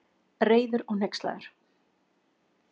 Reiður og hneykslaður.